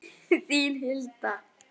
Þín Hilda.